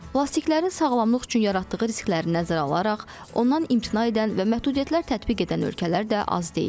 Plastiklərin sağlamlıq üçün yaratdığı riskləri nəzərə alaraq, ondan imtina edən və məhdudiyyətlər tətbiq edən ölkələr də az deyil.